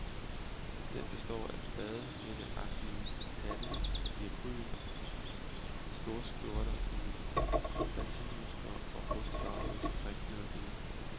Den består af badehætteagtige hatte i akryl, storskjorter i batikmønstre og rustfarvede striknederdele.